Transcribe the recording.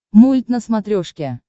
мульт на смотрешке